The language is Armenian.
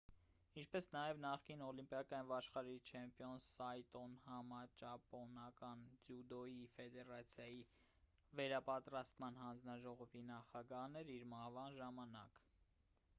ինչպես նաև նախկին օլիմպիական և աշխարհի չեմպիոն սայտոն համաճապոնական ձյուդոյի ֆեդերացիայի վերապատրաստման հանձնաժողովի նախագահն էր իր մահվան ժամանակ